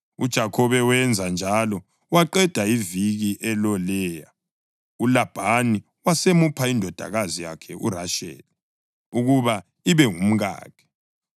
UJakhobe wenza njalo. Waqeda iviki eloLeya, uLabhani wasemupha indodakazi yakhe uRasheli ukuba ibe ngumkakhe.